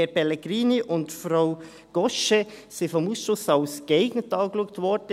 Herr Pellegrini und Frau Cochet wurden vom Ausschuss als geeignet erachtet.